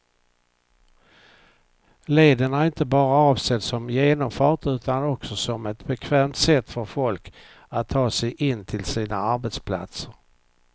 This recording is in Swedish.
Leden är inte enbart avsedd som genomfart utan också som ett bekvämt sätt för folk att ta sig in till sina arbetsplatser.